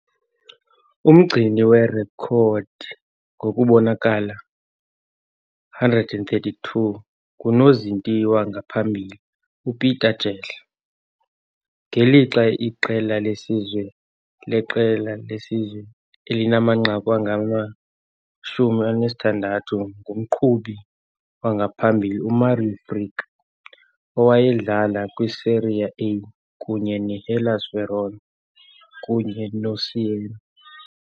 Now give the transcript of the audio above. Umgcini werekhodi ngokubonakala, 132, ngunozinti wangaphambili uPeter Jehle, ngelixa iqela lesizwe leqela lesizwe elinamanqaku angama-16 ngumqhubi wangaphambili Mario Frick, owayedlala kwiSerie A kunye noHellas Verona kunye noSiena.